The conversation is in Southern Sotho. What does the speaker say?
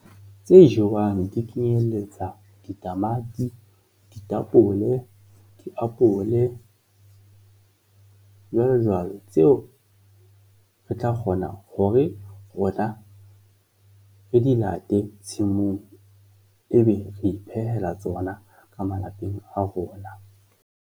Tse jewang di kenyelletsa ditamati, ditapole, diapole, jwalojwalo, tseo re tla kgona hore rona re di late tshimong ebe re iphehela tsona ka malapeng a rona.